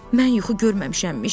Mən yuxu görməmişəmmiş.